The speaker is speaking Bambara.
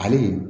Hali